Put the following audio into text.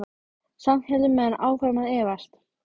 Samt héldu menn áfram að efast.